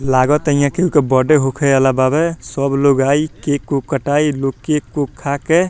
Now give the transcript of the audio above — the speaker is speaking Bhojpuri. लागता यहाँ केहू के बर्थडे होखे ला बावे सब लोग आई केक उक कटाई लोग केक को खा के --